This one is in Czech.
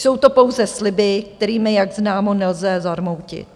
Jsou to pouze sliby, kterými, jak známo, nelze zarmoutit.